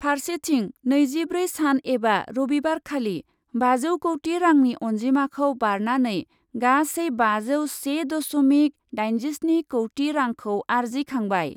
फार्सेथिं नैजिब्रै सान एबा रबिबारखालि बाजौ कौटि रांनि अन्जिमाखौ बारनानै गासै बाजौ से दस'मिक दाइजिस्नि कौटि रांखौ आरजिखांबाय ।